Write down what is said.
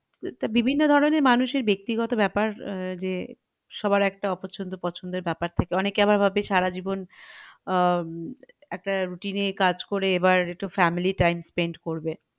বিভিন্ন ধরনের মানুষের ব্যাক্তিগত বেপার আহ যে সবার একটা অপছনদ পছন্দর বেপার থাকে আবার অনেকে ভাবে আবার সারাজীবন আহ একটা routine এ কাজ করে এবার একটু family time spend করবে